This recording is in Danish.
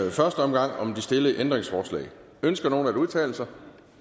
i første omgang om de stillede ændringsforslag ønsker nogen at udtale sig